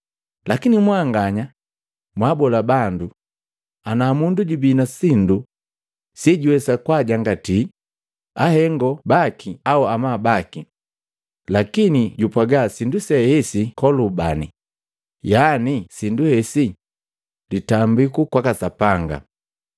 Lakini mwanganya mwaabola bandu, ana mundu jubii na sindu sejuwesa kwaajangatii ahengo baki au amabu baki, lakini jupwaga Sindu see esi Kolubani, yani sindu hesi litambiku kwaka Sapanga,